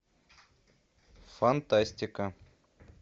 фантастика